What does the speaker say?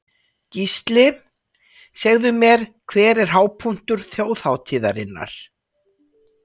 Gísli: Segðu mér, hver er hápunktur þjóðhátíðarinnar?